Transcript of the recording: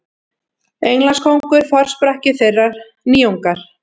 Englandskóngur forsprakki þeirrar nýjungar.